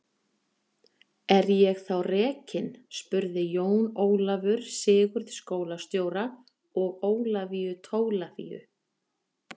Er ég þá rekinn spurði Jón Ólafur Sigurð skólastjóra og Ólafíu Tólafíu.